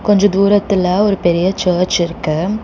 கொஞ்ச தூரத்துல ஒரு பெரிய சர்ச் இருக்கு.